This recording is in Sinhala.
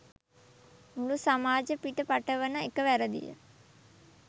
මුළු සමාජ පිට පටවන එක වැරදිය